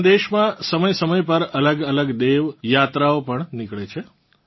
આપણાં દેશમાં સમયસમય પર અલગઅલગ દેવ યાત્રાઓ પણ નિકળે છે